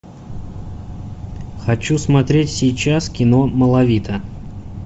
хочу смотреть сейчас кино малавита